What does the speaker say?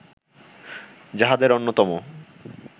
যাহাদের অন্যতম